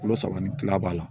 Kilo saba ni kila b'a la